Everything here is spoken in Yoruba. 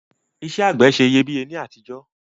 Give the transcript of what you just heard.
Isẹ́ àgbẹ̀ se iyebíye ni àtijọ́